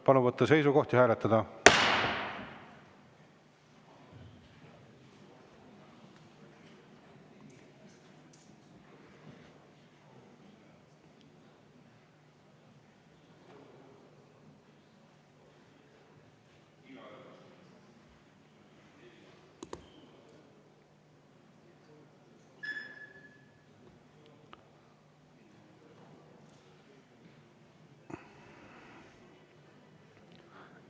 Palun võtta seisukoht ja hääletada!